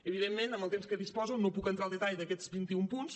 evidentment amb el temps de què disposo no puc entrar al detall d’aquests vinti un punts